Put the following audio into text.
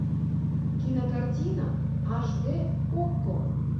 кинокартина аш дэ окко